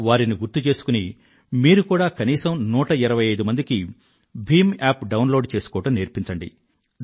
వారిని గుర్తు చేసుకుని మీరు కూడా కనీసం 125 మందికి భీమ్ అప్ డౌన్ లోడ్ చేసుకోవడం నేర్పించండి